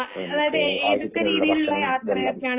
ഭക്ഷണം ഇതെല്ലം